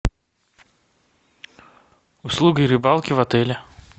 услуги рыбалки в отеле